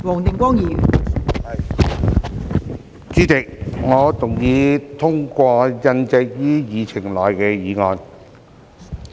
代理主席，我動議通過印載於議程內的議案。